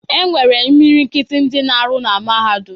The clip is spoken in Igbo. E nwere imilikiti ndị na-arụ na Mahadum.